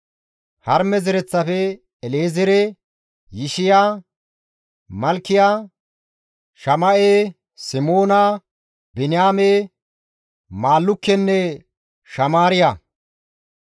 Harime zereththafe, El7ezeere, Yishiya, Malkiya, Shama7e, Simoona, Biniyaame, Maallukkenne Shamaariya;